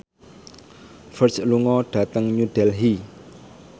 Ferdge lunga dhateng New Delhi